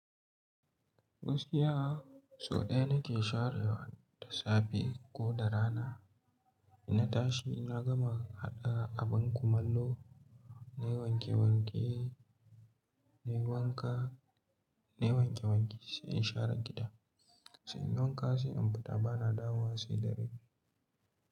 Gaskiya so ɗaya nake sharewa da safe, ko da rana. Inna tashi, inna gama haɗa abin kumallo, nayi wanke-wanke, nayi wanka, nayi wanke-wanke, sai in share gida. Sai in wanka sai in fita, bana dawowa sai dare.